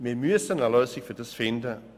Wir müssen eine Lösung finden.